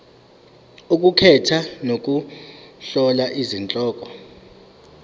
ukukhetha nokuhlola izihloko